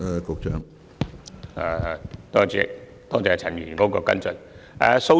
主席，多謝陳議員的跟進質詢。